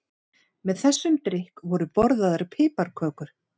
Með þessum drykk voru borðaðar piparkökur.